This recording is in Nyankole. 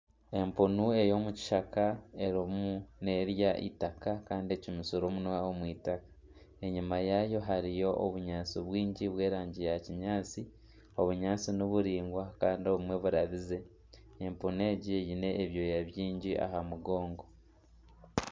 Empunu ey'omukishaka erimu nerya itaka kandi ecumitsire omunwa omw'itaka. Enyima yayo hariyo obunyaatsi bwingi by'erangi ya kinyaatsi. Obunyaatsi niburingwa Kandi obumwe burabize. Empunu egi eine ebyooya bingi aha mugongo.